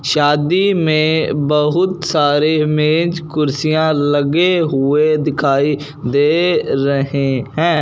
शादी में बहुत सारे मेज कुर्सियां लगे हुए दिखाई दे रहे हैं।